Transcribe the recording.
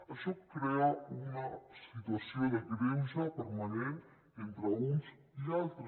això crea una situació de greuge permanent entre uns i altres